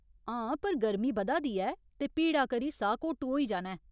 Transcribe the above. हां, पर गर्मी बधा दी ऐ ते भीड़ा करी साह्घोटू होई जाना ऐ।